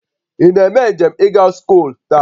Ị na-eme njem ịga scholl taa?